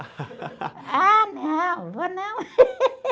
Ah, não, vou não.